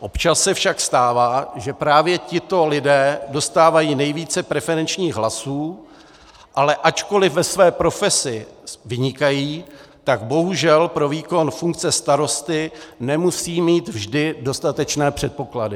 Občas se však stává, že právě tito lidé dostávají nejvíce preferenčních hlasů, ale ačkoliv ve své profesi vynikají, tak bohužel pro výkon funkce starosty nemusejí mít vždy dostatečné předpoklady.